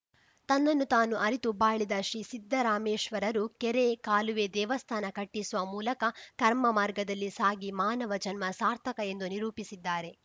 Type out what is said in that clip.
ತನ್ನನ್ನು ತಾನು ಅರಿತು ಬಾಳಿದ ಶ್ರೀ ಸಿದ್ಧರಾಮೇಶ್ವರರು ಕೆರೆ ಕಾಲುವೆ ದೇವಸ್ಥಾನ ಕಟ್ಟಿಸುವ ಮೂಲಕ ಕರ್ಮ ಮಾರ್ಗದಲ್ಲಿ ಸಾಗಿ ಮಾನವ ಜನ್ಮ ಸಾರ್ಥಕ ಎಂದು ನಿರೂಪಿಸಿದ್ದಾರೆ